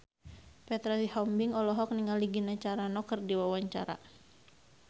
Petra Sihombing olohok ningali Gina Carano keur diwawancara